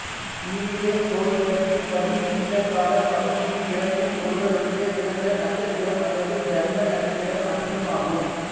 இந்திய சோதிடத்தின்படி இந்தக் காலப் பகுதியில் பிறக்கும் ஒருவருடைய பிறந்த நட்சத்திரம் அல்லது ஜன்ம நட்சத்திரம் அனுசம் ஆகும்